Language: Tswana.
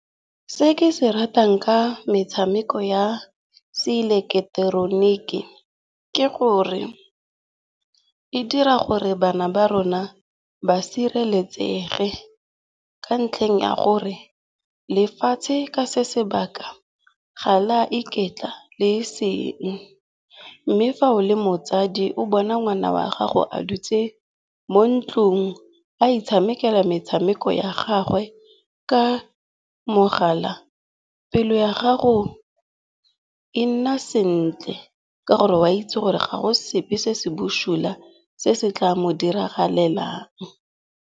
Se ke se ratang ka metshameko ya seileketeroniki ke gore e dira gore bana ba rona ba sireletsege ka ntlheng ya gore lefatshe ka se sebaka, ga le a iketla le eseng. Mme fa o le motsadi o bona ngwana wa gago a dutse mo ntlong a itshamekela metshameko ya gagwe ka mogala, pelo ya gago e nna sentle ka gore wa itse gore ga go sepe se se busula se se tla mo diragalelang.